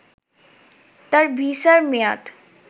তার ভিসার মেয়াদ